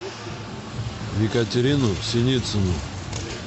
екатерину синицыну